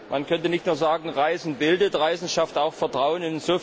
Man könnte nicht nur sagen Reisen bildet. Reisen schafft auch Vertrauen.